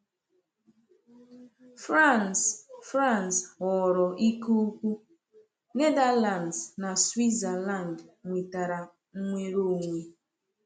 France France ghọrọ ike ukwu, Netherlands na Switzerland nwetara nnwere onwe.